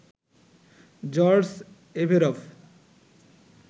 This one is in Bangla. George Averoff,